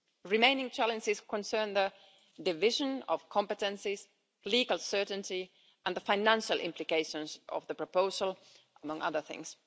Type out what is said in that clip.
Remaining challenges concern the division of competences, legal certainty and the financial implications of the proposal, among other things.